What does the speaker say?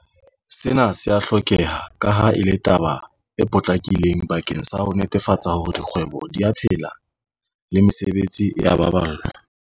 Sena se a hlokeha kaha e le taba e potlakileng bakeng sa ho netefatsa hore dikgwebo di a phela le mesebetsi e a baballwa.